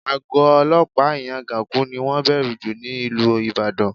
Àgọ́ olọ́pàá Ìyágànkú ni wọ́n bẹ̀rù jù ní ìlú Ìbàdàn